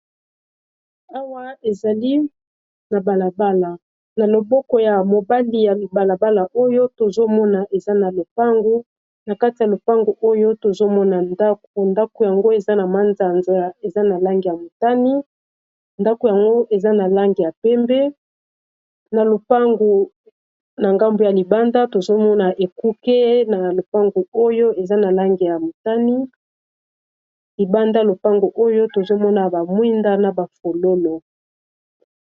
Awa ezali na balabala na loboko ya mobandi ya mibalabala oyo tozomona eza na lopango na kati ya lopango oyo tozomona ndako ndako yango eza na mazanza eza na lange ya motani ndako yango eza na lange ya pembe na lopango na ngambo ya libanda tozomona ekuke nalibanda lopango oyo tozomona bamwinda na bafololo.